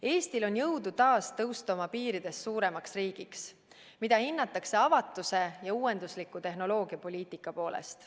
Eestil on jõudu taas tõusta oma piiridest suuremaks riigiks, mida hinnatakse avatuse ja uuendusliku tehnoloogiapoliitika tõttu.